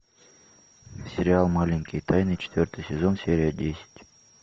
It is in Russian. сериал маленькие тайны четвертый сезон серия десять